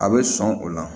A bɛ sɔn o la